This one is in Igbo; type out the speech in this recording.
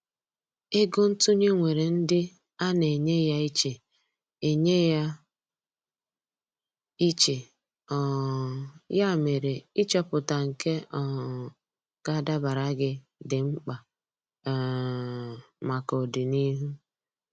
Ego ntụnye nwèrè ndị ana enye ya iche, enye ya iche, um ya mere ịchọpụta nke um ga adabara gị, di mkpa um maka ọdịnihu.